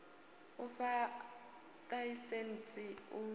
u fha ḽaisentsi u ya